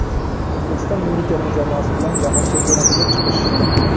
O‘zbekiston milliy terma jamoasi bilan Jahon Chempionatiga chiqish.